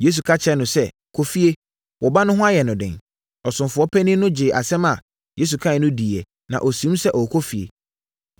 Yesu ka kyerɛɛ no sɛ, “Kɔ efie, wo ba no ho ayɛ no den!” Ɔsomfoɔ panin no gyee asɛm a Yesu kaeɛ no dii na ɔsiim sɛ ɔrekɔ efie.